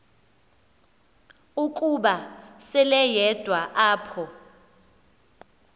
ukuba seleyedwa apho